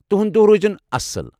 تُہُنٛد دۄہ روٗزِن اصٕل۔